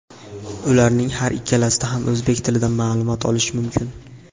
Ularning har ikkalasida ham o‘zbek tilida ma’lumot olish mumkin.